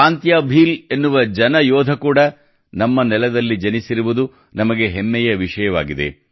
ತಾಂತ್ಯಾ ಭೀಲ್ ಎನ್ನುವ ಜನ ಯೋಧ ಕೂಡಾ ನಮ್ಮ ನೆಲದಲ್ಲಿ ಜನಿಸಿರುವುದು ನಮಗೆ ಹೆಮ್ಮೆಯ ವಿಷಯವಾಗಿದೆ